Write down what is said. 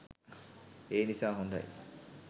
ඒ නිසා හොඳයි.